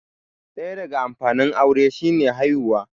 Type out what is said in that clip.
ɗaya daga amfanin aure shi ne haihuwa